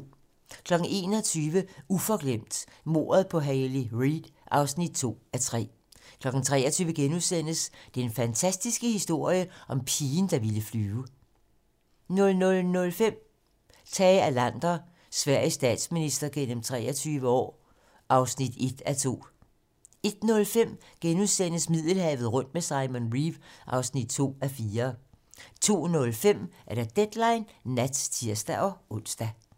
21:00: Uforglemt: Mordet på Hayley Reid (2:3) 23:00: Den fantastiske historie om pigen, der ville flyve * 00:05: Tage Erlander - Sveriges statsminister gennem 23 år (1:2) 01:05: Middelhavet rundt med Simon Reeve (2:4)* 02:05: Deadline nat (tir-ons)